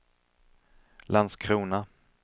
Landskrona